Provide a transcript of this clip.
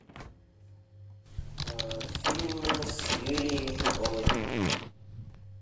фильмы с юлией михалковой